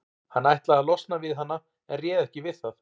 Hann ætlaði að losna við hana en réð ekki við það.